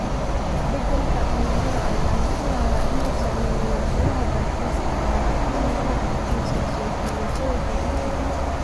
Isbeddelka cimilada ayaa la filayaa inuu saameeyo warshadaha dalxiiska, gaar ahaan meelaha ku tiirsan soo jiidashada dabiiciga ah.